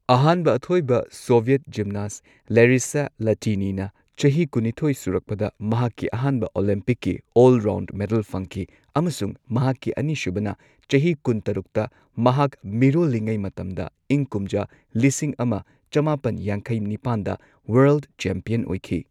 ꯑꯍꯥꯟꯕ ꯑꯊꯣꯏꯕ Soviet gymnast Larisa Latynina ꯆꯍꯤ ꯀꯨꯟꯅꯤꯊꯣꯏ ꯁꯨꯔꯛꯄꯗ ꯃꯍꯥꯛꯀꯤ ꯑꯍꯥꯟꯕ ꯑꯣꯂꯤꯝꯄꯤꯛꯀꯤ ꯑꯣꯜ ꯔꯥꯎꯟꯗ ꯃꯦꯗꯜ ꯐꯪꯈꯤ ꯑꯃꯁꯨꯡ ꯃꯍꯥꯛꯀꯤ ꯑꯅꯤꯁꯨꯕꯅ ꯆꯍꯤ ꯀꯨꯟꯇꯔꯨꯛꯇ ꯃꯍꯥꯛ ꯃꯤꯔꯣꯜꯂꯤꯉꯩ ꯃꯇꯝꯗ ꯏꯪ ꯀꯨꯝꯖꯥ ꯂꯤꯁꯤꯡ ꯑꯃ ꯆꯃꯥꯄꯟ ꯌꯥꯡꯈꯩ ꯅꯤꯄꯥꯟꯗ ꯋꯔꯜꯗ ꯆꯦꯝꯄꯤꯌꯟ ꯑꯣꯏꯈꯤ꯫